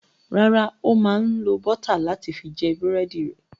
Rárá, ó máa ń lo bọ́t láti fi jẹ búrẹ́dì rẹ̀.